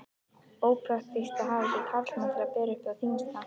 Ópraktískt að hafa ekki karlmann til að bera það þyngsta.